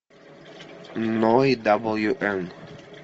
ной дабл ю н